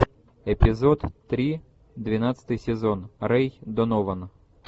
эпизод три двенадцатый сезон рэй донован